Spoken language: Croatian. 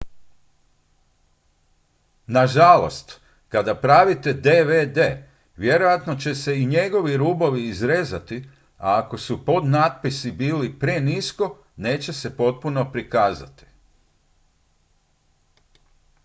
nažalost kada pravite dvd vjerojatno će se i njegovi rubovi izrezati a ako su podnapisi bili prenisko neće se potpuno prikazati